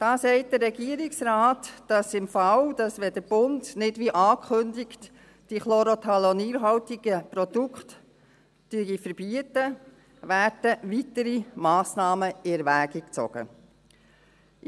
Da sagt der Regierungsrat, dass im Fall, dass der Bund nicht wie angekündigt die chlorothalonilhaltigen Produkte verbietet, weitere Massnahmen in Erwägung gezogen werden.